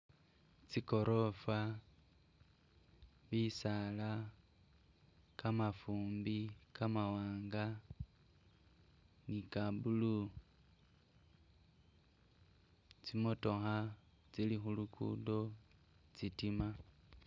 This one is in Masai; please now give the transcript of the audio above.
Tsigorafa, bisaala, kamafumbi, kamawanga nika blue, tsi motokha tsili khu lugudo tsitima.